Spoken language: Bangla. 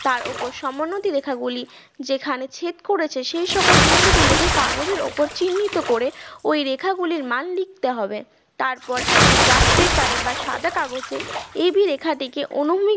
তার ওপর সমোন্নতি রেখা গুলি যেখানে ছেদ করেছে সেই সকল বিন্দুগুলিতে কাগজের ওপর চিহ্নিত করে ওই রেখা গুলির মান লিখতে হবে তারপর একটি graph paper এ বা সাদা কাগজে এই দুই রেখাটিকে অনুমিত